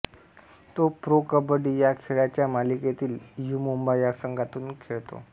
तो प्रो कबड्डी या खेळाच्या मालिकेतील यु मुंबा या संघातून खेळतो